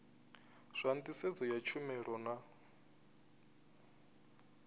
zwa nḓisedzo ya tshumelo na